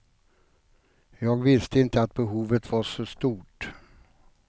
Jag visste inte att behovet var så stort.